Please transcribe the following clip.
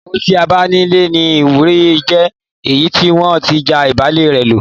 Ìyàwó tí a bá nílé ní ìwúrí ju èyí tí wọn ti já ìbálẹ́ rẹ lo